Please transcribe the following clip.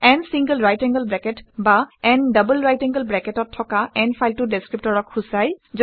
n single right angle bracket বা n double right angle bracket অত থকা n ফাইলটো ডেচক্ৰিপ্টৰক সূচায়